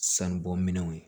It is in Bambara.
Sanubɔ minɛnw ye